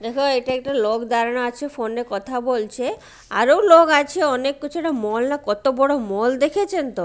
দেখ এটা একটা লোক দাঁড়ানো আছে ফোন -এ কথা বলছে আরো লোক আছে অনেক কিছু মল না কত বড় মল দেখেছেনতো।